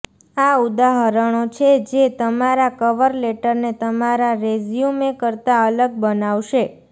આ ઉદાહરણો છે જે તમારા કવર લેટરને તમારા રેઝ્યૂમે કરતાં અલગ બનાવશે